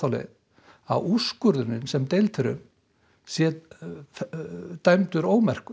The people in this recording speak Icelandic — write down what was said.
leið að úrskurðurinn sem deilt er um sé dæmdur ómerkur